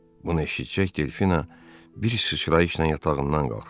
Bunu eşidəcək Delfina bir sıçrayışla yatağından qalxdı.